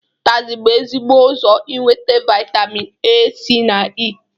Ụtazi bụ ezigbo ụzọ inwete vaịtamin A, C na E.